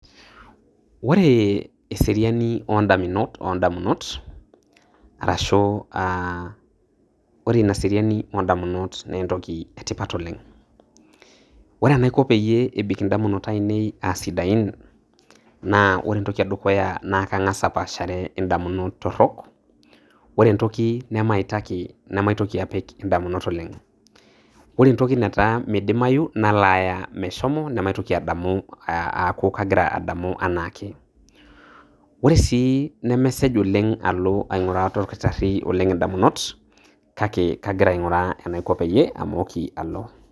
Ore eserini oo ndaminot oo ndamunot arashu um ore ina seriani oo ndamunot naa entoki e tipat oleng'. Ore enaiko peiyee ebik indamunot ainei aa sidain naa kore entoki e dukuya naa kang'as apaashare indamunot torok. Oe entoki nemaitaki nemaitoki apik indamunot ore entoki nataa meidimayu nalaaya meshomo namaitoki adamu aaku agira adamu anaake. Ore sii nemesej oleng' alo aing'uraa olakitari oleng' aing'uraa indamunot, kake agira aing'uraa enaiko peiye amooki alo.